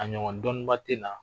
A ɲɔgɔn dɔnniba tɛ na